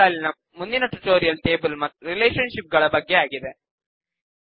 ಈ ಸಾಲಿನ ಮುಂದಿನ ಟ್ಯುಟೋರಿಯಲ್ ಟೇಬಲ್ ಮತ್ತು ರಿಲೇಶನ್ ಶಿಪ್ ಗಳ ಬಗ್ಗೆ ಆಗಿದೆ